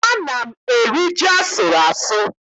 Ana m eri ji asụrụ asụ.